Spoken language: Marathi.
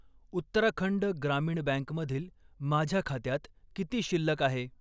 उत्तराखंड ग्रामीण बँकमधील माझ्या खात्यात किती शिल्लक आहे?